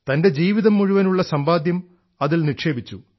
തൻറെ ജീവിതം മുഴുവനും ഉള്ള സമ്പാദ്യം അതിൽ നിക്ഷേപിച്ചു